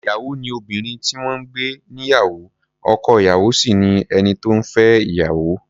Ìyàwó ni obìnrin tí wọ́n ń gbé níyàwó, ọkọ-ìyàwó sì ni ẹni tó ń fẹ́ ìyàwó.